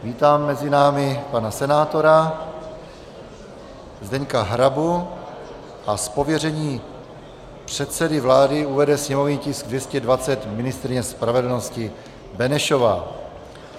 Vítám mezi námi pana senátora Zdeňka Hrabu a z pověření předsedy vlády uvede sněmovní tisk 220 ministryně spravedlnosti Benešová.